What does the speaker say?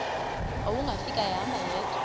wawungafika ehamba yedwa